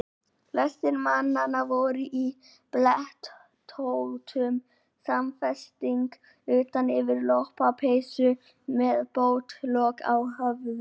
Flestir mannanna voru í blettóttum samfesting utan yfir lopapeysu og með pottlok á höfði.